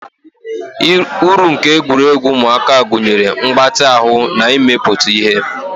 Uru nke egwuregwu ụmụaka gụnyere mgbatị ahụ na imepụta ihe.